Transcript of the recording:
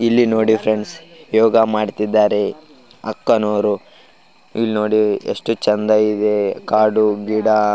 ಇಲ್ಲಿ ನೋಡಿ ಫ್ರೆಂಡ್ಸ್ ಯೋಗ ಮಾಡ್ತಿದ್ದಾರೆ ಅಕ್ಕನವರು ಇಲ್ನೋಡಿ ಎಷ್ಟು ಚೆಂದ ಇದೆ ಕಾಡು ಗಿಡ --